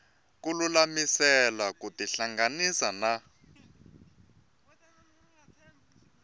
ku lulamisela ku tihlanganisa na